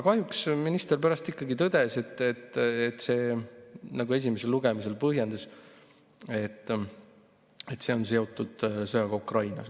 Kahjuks pärast minister ikkagi tõdes, nagu ka esimesel lugemisel põhjendati, et see on seotud sõjaga Ukrainas.